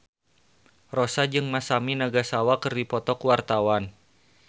Rossa jeung Masami Nagasawa keur dipoto ku wartawan